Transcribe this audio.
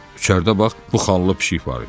İçəridə bax bu xallı pişik var idi.